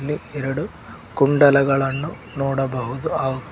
ಒಂದು ಎರಡು ಕುಂಡಲಗಳನ್ನು ನೋಡಬಹುದು ಹಾಗೂ --